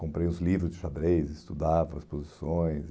Comprei os livros de xadrez, estudava as posições.